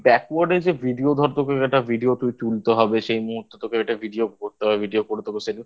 তুই Backward যে Video ধর তোকে একটা Video তুই তুলতে হবে সেই তোকে এটা Video করতে হবে ভিডিও করে দেবো সেদিন